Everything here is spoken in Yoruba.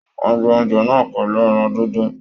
Wọn gbé oúnjẹ náà pẹlú ẹran díndín.